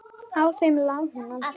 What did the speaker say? Á þeim lá hún aldrei.